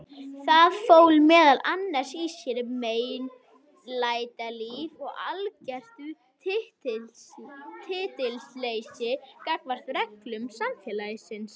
Það fól meðal annars í sér meinlætalíf og algert tillitsleysi gagnvart reglum samfélagsins.